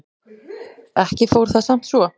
Ekki fór það samt svo.